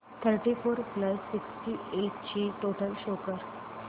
thirty four plus sixty eight ची total show कर